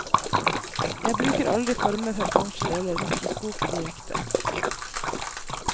Jeg bruker aldri former fra plansjer eller mikroskopet direkte.